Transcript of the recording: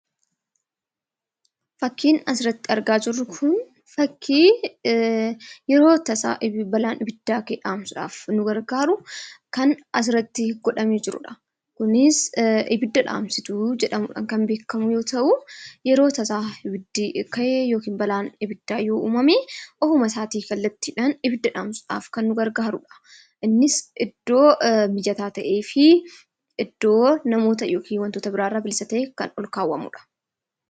Fakkiin asirratti argaa jirru kun fakkii yeroo akka tasaa balaa abiddaa dhaamsuudhaaf nu gargaaru kan asirratti godhamee jirudha. Kunis abidda dhaamsituu jedhmuudhaan kan beekamu yoo ta'u, yeroo tasa abiddi ka'e ofuma isaatii kallattiidhaan kan nu gargaarudha. Innis iddoo mijataa ta'ee fi iddoo wantoota birroorraa bilisa ta'e kan ol kaawwamudha.